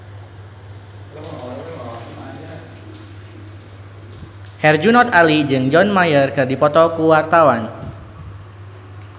Herjunot Ali jeung John Mayer keur dipoto ku wartawan